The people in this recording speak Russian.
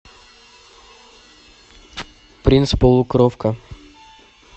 принц полукровка